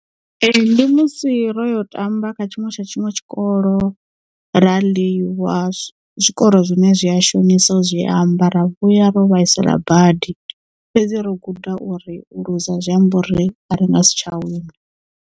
Ee ndi musi ro yo tamba kha tshiṅwe tsha tshiṅwe tshikolo ra ḽiwa zwikoro zwine zwi a shonisa u zwi amba ra vhuya ro vhaisala badi fhedzi ro guda uri u luza a zwi ambi uri a ri nga si tsha wina.